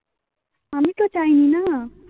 আমি তো চাইনি না